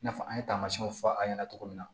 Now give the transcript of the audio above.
I n'a fɔ an ye taamasiyɛnw fɔ an ɲɛna cogo min na